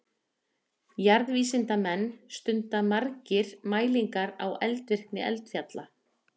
Jarðvísindamenn stunda margir mælingar á eldvirkni eldfjalla.